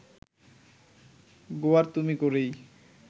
গোঁয়ার্তুমি করেই